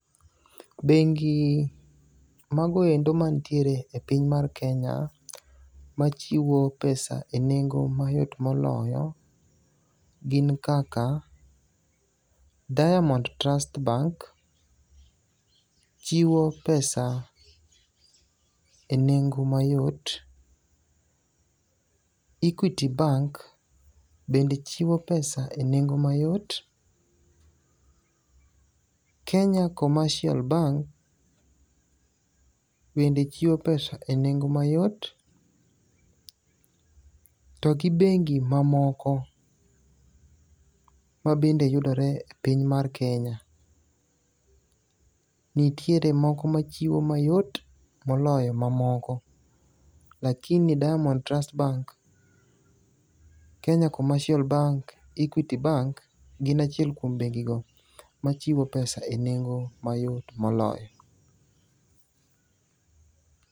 Bengi magoendo mantiere e piny mar Kenya machiwo pesa e nengo mayot moloyo gin kaka Diamond Trust Bank chiwo pesa e nengo mayot. Equity Bank bende chiwo pesa e nengo mayot. Kenya Commercial Bank bende chiwo pesa e nengo mayot. To gi bengi mamoko mabende yudore e piny mar Kenya. Nitiere moko machiwo mayot moloyo mamoko. Lakini Diamond Trust Bank, Kenya Commercial Bank, Equity Bank gin achiel kuom bengi go machiwo pesa e nengo mayot moloyo.